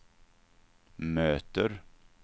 möter